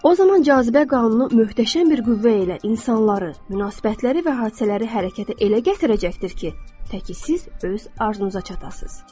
O zaman cazibə qanunu möhtəşəm bir qüvvə ilə insanları, münasibətləri və hadisələri hərəkətə elə gətirəcəkdir ki, təki siz öz arzunuza çatasız.